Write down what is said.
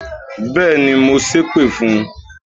Béèni, mo ṣépè fún